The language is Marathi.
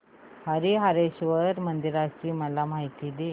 हरीहरेश्वर मंदिराची मला माहिती दे